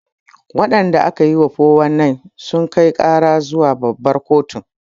Waɗanda aka yi wa 419 sun kai ƙara zuwa babbar kotu